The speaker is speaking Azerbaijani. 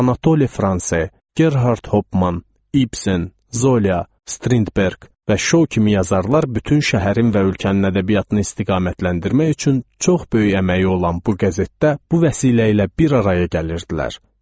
Anatole France, Gerhart Hopman, İbsen, Zola, Strindberg və Şou kimi yazarlar bütün şəhərin və ölkənin ədəbiyyatını istiqamətləndirmək üçün çox böyük əməyi olan bu qəzetdə, bu vəsilə ilə bir araya gəlirdilər.